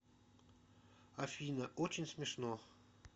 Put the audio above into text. афина очень смешно